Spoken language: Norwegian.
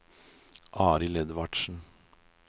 Arild Edvardsen